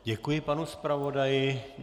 Děkuji panu zpravodaji.